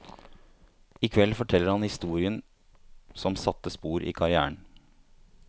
I kveld forteller han historien som satte spor i karrièren.